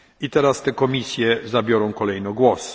Teraz te komisje zabiorą kolejno głos.